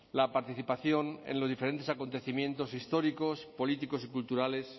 la participación en los diferentes acontecimientos históricos políticos y culturales